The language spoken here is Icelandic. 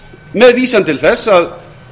með vísan til þess að